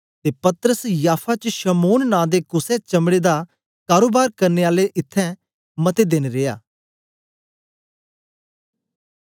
ते पतरस याफा च शमौन नां दे कुसे चमड़े दा कारोबार करने आले दे इत्थैं मते देन रिया